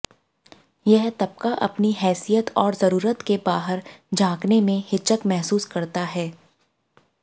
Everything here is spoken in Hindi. यह तबका अपनी हैसियत और जरूरत के बाहर झाँकने में हिचक महसूस करता है